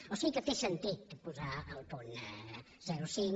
o sigui que té sentit posar el punt zero coma cinc